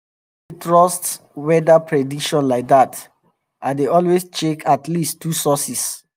i no dey trust weather prediction like that i dey always check at least two sources